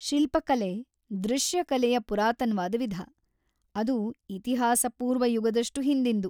ಶಿಲ್ಪಕಲೆ ದೃಶ್ಯ ಕಲೆಯ ಪುರಾತನ್ವಾದ್‌ ವಿಧ.. ಅದು ಇತಿಹಾಸಪೂರ್ವ ಯುಗದಷ್ಟು ಹಿಂದಿನ್ದು.